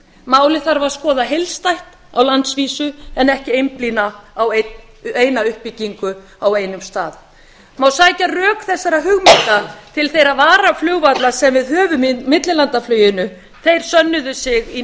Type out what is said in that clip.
málið þarf að skoða heildstætt á landsvísu en ekki einblína á eina uppbyggingu á einum stað það má sækja rök þessara hugmynda til þeirra varaflugvalla sem við höfum í millilandafluginu þeir sönnuðu sig í